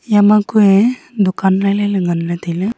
yama kuye dukan lailai ley nganley tailey.